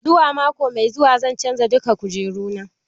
Zuwa mako mai zuwa zan canza duka kujeru na.